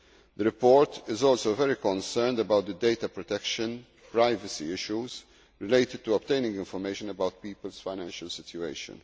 The report is also very concerned about the data protection privacy issues related to obtaining information about people's financial situation.